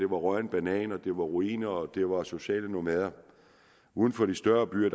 rådne bananer det var ruiner og det var sociale nomader og uden for de større byer